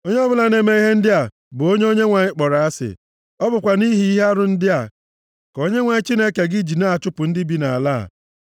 Onye ọbụla na-eme ihe ndị a bụ onye Onyenwe anyị kpọrọ asị. Ọ bụkwa nʼihi ihe arụ ndị a ka Onyenwe anyị Chineke gị ji na-achụpụ ndị bi nʼala a.